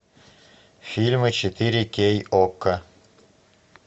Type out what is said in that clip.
фильмы четыре кей окко